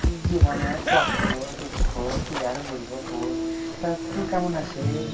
জীবনে কষ্ট দুঃখ কি আর বলবো বল তা তু কেমন আছিস